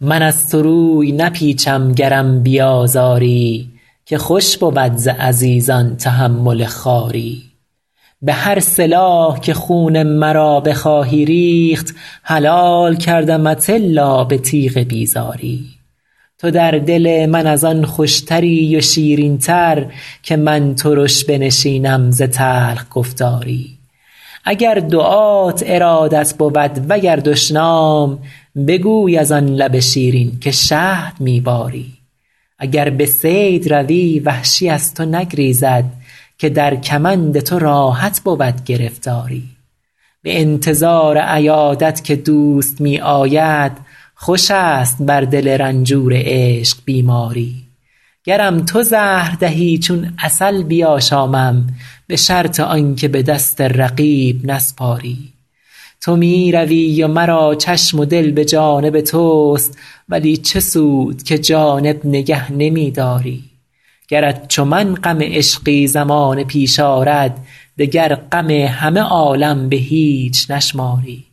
من از تو روی نپیچم گرم بیازاری که خوش بود ز عزیزان تحمل خواری به هر سلاح که خون مرا بخواهی ریخت حلال کردمت الا به تیغ بیزاری تو در دل من از آن خوشتری و شیرین تر که من ترش بنشینم ز تلخ گفتاری اگر دعات ارادت بود و گر دشنام بگوی از آن لب شیرین که شهد می باری اگر به صید روی وحشی از تو نگریزد که در کمند تو راحت بود گرفتاری به انتظار عیادت که دوست می آید خوش است بر دل رنجور عشق بیماری گرم تو زهر دهی چون عسل بیاشامم به شرط آن که به دست رقیب نسپاری تو می روی و مرا چشم و دل به جانب توست ولی چه سود که جانب نگه نمی داری گرت چو من غم عشقی زمانه پیش آرد دگر غم همه عالم به هیچ نشماری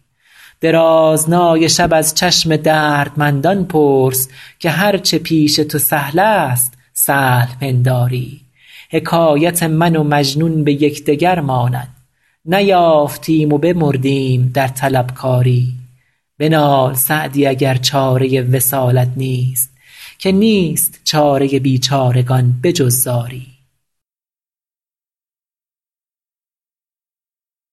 درازنای شب از چشم دردمندان پرس که هر چه پیش تو سهل است سهل پنداری حکایت من و مجنون به یکدگر ماند نیافتیم و بمردیم در طلبکاری بنال سعدی اگر چاره وصالت نیست که نیست چاره بیچارگان به جز زاری